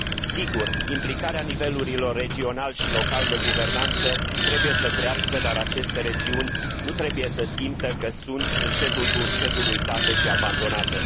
Sigur, implicarea nivelurilor regional și local de guvernanță trebuie să crească, dar aceste regiuni nu trebuie să simtă că sunt încetul cu încetul uitate și abandonate.